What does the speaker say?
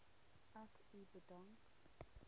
ek u bedank